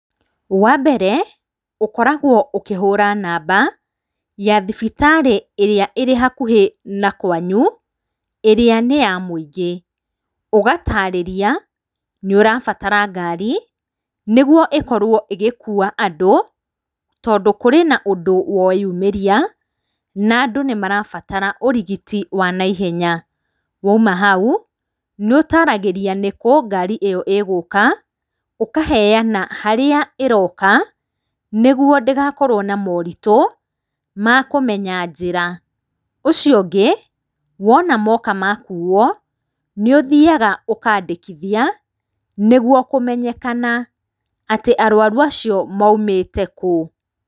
Wa mbere, ũkoragwo ũkĩhũra namba ya thibitarĩ ĩrĩa ĩrĩ hakuhĩ na kwanyu, ĩrĩa nĩ ya mwĩingĩ, ũgatarĩria, nĩ ũrabatara ngari, nĩguo ĩkorwo igĩkuwa andũ, tondũ kũrĩ na ũndũ wonyumĩria, nandũ nĩ marabatara ũrigiti wanaihenya, waima hau, nĩ ũtaragĩria nĩkũ ngari ĩyo igũka, ũkaheyana harĩa ĩroka, nĩguo ndĩgakorwo na moritũ, makũmenya njĩra, ũcio ũngĩ, wona moka makuwo, nĩ ũthiaga ũkandĩkithia, nĩguo kũmenyekana atĩ arwaru acio maimĩte kũu.